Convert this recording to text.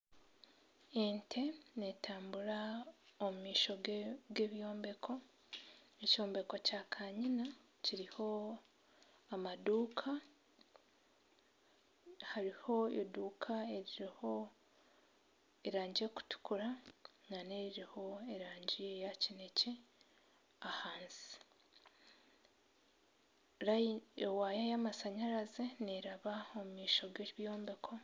Ente n'etambura omu maisho g'ebyombeko, ekyombeko kya kanyina kiriho amaduuka hariho eduuka eririho erangi erikutukura nana eririho erangi eya kinekye ahansi ewaaya y'amasanyarazi neeraba omu maisho g'ebyombeko